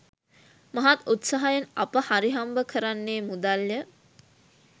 මහත් උත්සාහයෙන් අප හරිහම්බ කරන්නේ මුදල් ය.